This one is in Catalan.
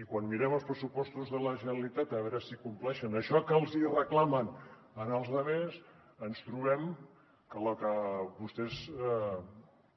i quan mirem els pressupostos de la generalitat a veure si compleixen això que els hi reclamen als altres ens trobem que la que vostès